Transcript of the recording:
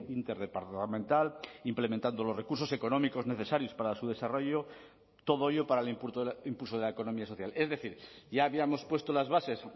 interdepartamental implementando los recursos económicos necesarios para su desarrollo todo ello para el impulso de la economía social es decir ya habíamos puesto las bases